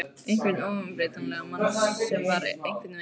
Einhvern óumbreytanlegan mann sem var einhvern veginn.